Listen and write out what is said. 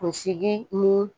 Kunsigi ni